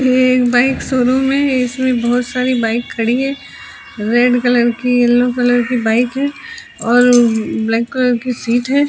ये एक bike showroom है इसमे बहोत सारी बाइक खड़ी है रेड कलर की येलो कलर की बाइक हैं और ब्लैक कलर की सीट हैं।